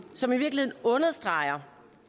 som i virkeligheden understreger